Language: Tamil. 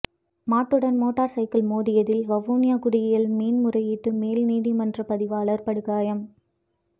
மாட்டுடன் மோட்டார் சைக்கிள் மோதியதில் வவுனியா குடியியல் மேன் முறையீட்டு மேல் நீதிமன்ற பதிவாளர் படுகாயம்